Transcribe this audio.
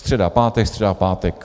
Středa, pátek, středa, pátek.